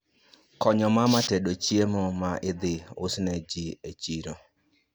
Konyo mama tedo chiemo ma idhi usne ji e chiro